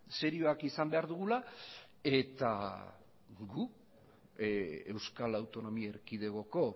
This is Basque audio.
serioak izan behar dugula eta gu euskal autonomi erkidegoko